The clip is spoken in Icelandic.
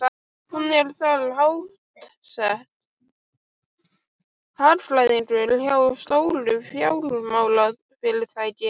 Hún er þar háttsett, hagfræðingur hjá stóru fjármálafyrirtæki.